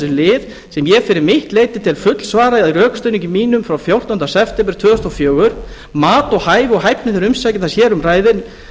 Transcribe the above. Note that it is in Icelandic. lið sem ég fyrir mitt leyti tel fullsvarað í rökstuðningi mínum frá fjórtándu september tvö þúsund og fjögur mat og hæfi og hæfni þeirra umsækjenda sem hér um ræðir